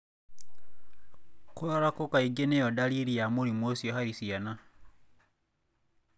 Kũrarako kaingĩ niyo dariri ya mũrimũ ucio harĩ ciana.